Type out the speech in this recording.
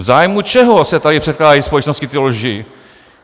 "V zájmu čeho se tady předkládají společnosti ty lži?